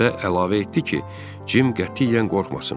Və əlavə etdi ki, Cim qətiyyən qorxmasın.